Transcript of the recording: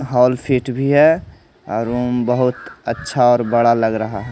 hall seat भी है अ रुम बहुत अच्छा और बड़ा लग रहा--